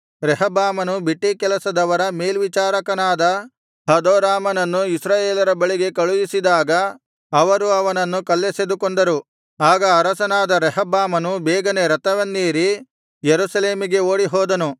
ರೆಹಬ್ಬಾಮನು ಬಿಟ್ಟೀಕೆಲಸದವರ ಮೇಲ್ವಿಚಾರಕನಾದ ಹದೋರಾಮನನ್ನು ಇಸ್ರಾಯೇಲರ ಬಳಿಗೆ ಕಳುಹಿಸಿದಾಗ ಅವರು ಅವನನ್ನು ಕಲ್ಲೆಸೆದು ಕೊಂದರು ಆಗ ಅರಸನಾದ ರೆಹಬ್ಬಾಮನು ಬೇಗನೆ ರಥವನ್ನೇರಿ ಯೆರೂಸಲೇಮಿಗೆ ಓಡಿ ಹೋದನು